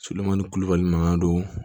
Sodenman ni kulubali mankan don